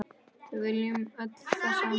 Við viljum öll það sama.